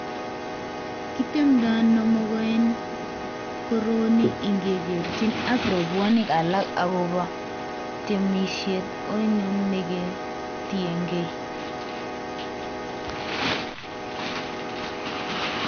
Kitemdo ono mogo en koroni ingekerchin ak robwonik alak ago temisiet oinon negetiengei?